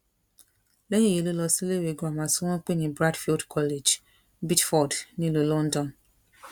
lẹ́yìn èyí ló lọ síléèwé girama tí wọ́n pè ní bradfield college beedford nílùú london